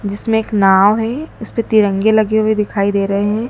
जिसमें एक नाव हैं इसपे तिरंगे लगे हुए दिखाई दे रहे हैं।